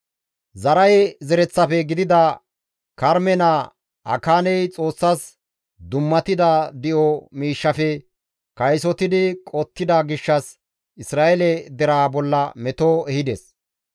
Zaraahe zereththafe gidida Karme naa Akaaney Xoossas dummatida di7o miishshafe kaysotidi qottida gishshas Isra7eele deraa bolla meto ehides.